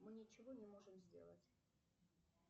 мы ничего не можем сделать